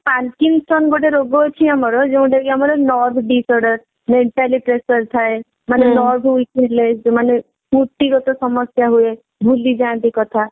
ତା ସାଙ୍ଗରେ ବି Parkinson's ଗୋଟେ ରୋଗ ଅଛି ଆମର ଯୋଊଟାକି ଆମର nerve disorder mentally pressure ଥାଏ ମାନେ nerve weak ଥିଲେ ବ୍ୟକ୍ତିଗତ ସମସ୍ଯା ଯୋଊଟା ଥାଏ ଭୁଳଯାନ୍ତି କଥା